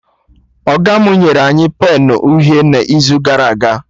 Ọga mụ nyere anyị penụ uhie n'izu gara aga